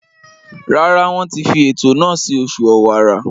Rárá, Wọ́n ti fi ètò náà sí oṣù ọ̀wàrà.